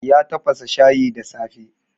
Ya tafasa shayi da safe.